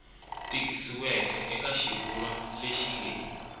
tikisiweke eka xivulwa lexi nge